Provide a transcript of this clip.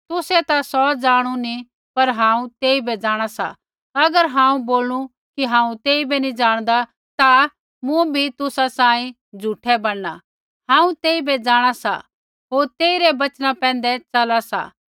तुसै ता सौ जाणु नी पर हांऊँ तेइबै जाँणा सा अगर हांऊँ बोलनू कि हांऊँ तेइबै नी जाणदा ता मुँबी तुसा सांही झ़ूठै बणना हांऊँ तेइबै जाँणा सा होर तेई रै बचना पैंधै चला सा